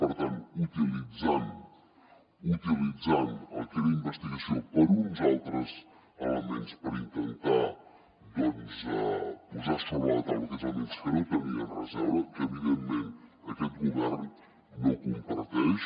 per tant utilitzant el que era investigació per uns altres elements per intentar doncs posar sobre la taula aquells elements que no tenien res a veure que evidentment aquest govern no comparteix